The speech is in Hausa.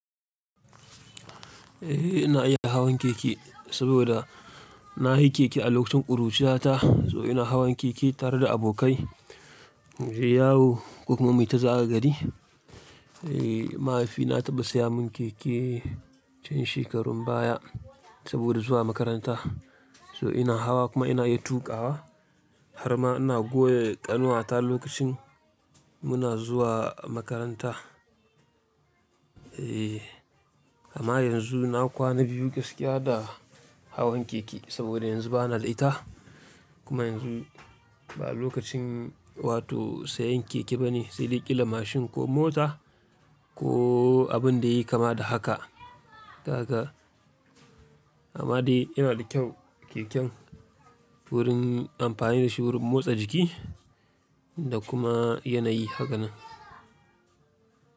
Eh ina iya hawan keke saboda na yi keke a lokacin ƙuruciyata. So ina hawan keke tare da abokai, muje yawo ko kuma mu yita zagaye gari. Eee mahaifina ya taɓa saya mun keke can shekarun baya saboda zuwa makaranta. So ina hawa kuma ina iya tuƙa wa har ma ina goya ƙanuwata lokacin muna zuwa makaranta. Eee amma yanzu na kwana biyu gaskiya da hawan keke saboda yanzu bana da ita. Kuma yanzu ba lokacin wato sayan keke bane, sai dai ƙila mashin ko mota ko abin da yayi kama da haka, Dan haka, amma dai yana da kyau keken wurin amfani da shi wurin motsa jiki da kuma yanayi haka nan.